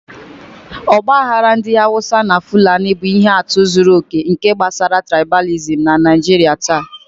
Ọgbaghara ndị Hausa na fulani bụ ihe atụ zuru oke nke gbasara trịbalìsịm na Naijiria taa.